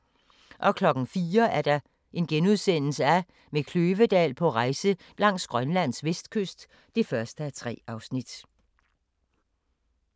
04:00: Med Kløvedal på rejse langs Grønlands vestkyst (1:3)*